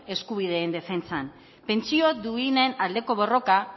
eskubideen defentsan pentsio duinen aldeko borroka